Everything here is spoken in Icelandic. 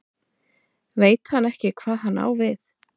Veit ekki hvað hann á við.